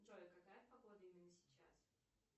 джой какая погода именно сейчас